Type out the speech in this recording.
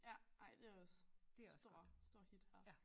Ja ej det også stort stort hit her